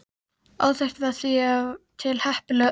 Óþekkt var því ef til heppilegra orð.